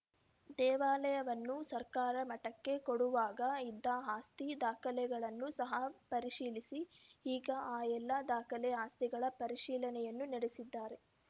ದೇವಾಲಯವನ್ನು ಸರ್ಕಾರ ಮಠಕ್ಕೆ ಕೊಡುವಾಗ ಇದ್ದ ಆಸ್ತಿ ದಾಖಲೆಗಳನ್ನು ಸಹ ಪರಿಶೀಲಿಸಿ ಈಗ ಆ ಎಲ್ಲ ದಾಖಲೆ ಆಸ್ತಿಗಳ ಪರಿಶೀಲನೆಯನ್ನು ನಡೆಸಿದ್ದಾರೆ